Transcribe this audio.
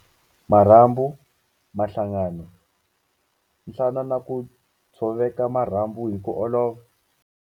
Marhambu, mahlangano, nhlana na ku tshoveka marhambu hi ku olova.